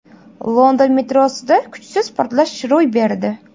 London metrosida kuchsiz portlash ro‘y berdi.